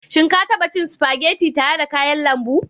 Shin ka taba cin spaghetti tare da kayan lambu?